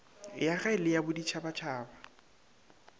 ya gae le ya boditšhabatšhaba